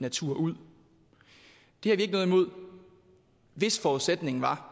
natur ud det har vi ikke noget imod hvis forudsætningen var